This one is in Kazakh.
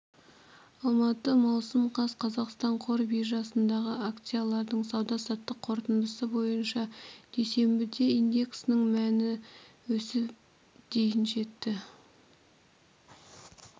алматы маусым қаз қазақстан қор биржасындағы акциялардың сауда-саттық қорытындысы бойынша дүйсенбіде индексінің мәні өсіп дейін жетті